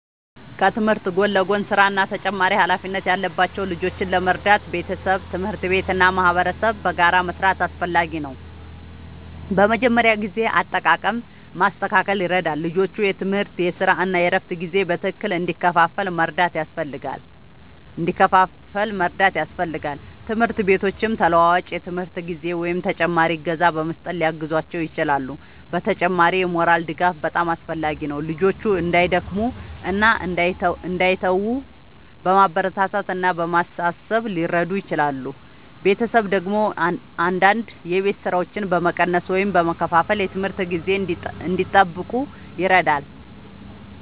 ከትምህርት ጎን ለጎን ሥራ እና ተጨማሪ ኃላፊነት ያለባቸው ልጆችን ለመርዳት ቤተሰብ፣ ትምህርት ቤት እና ማህበረሰብ በጋራ መስራት አስፈላጊ ነው። በመጀመሪያ የጊዜ አጠቃቀም ማስተካከል ይረዳል፤ ልጆቹ የትምህርት፣ የሥራ እና የእረፍት ጊዜ በትክክል እንዲከፋፈል መርዳት ያስፈልጋል። ትምህርት ቤቶችም ተለዋዋጭ የትምህርት ጊዜ ወይም ተጨማሪ እገዛ በመስጠት ሊያግዟቸው ይችላሉ። በተጨማሪም የሞራል ድጋፍ በጣም አስፈላጊ ነው፤ ልጆቹ እንዳይደክሙ እና እንዳይተዉ በማበረታታት እና በማሳሰብ ሊረዱ ይችላሉ። ቤተሰብ ደግሞ አንዳንድ የቤት ሥራዎችን በመቀነስ ወይም በመከፋፈል የትምህርት ጊዜ እንዲጠብቁ ይረዳል።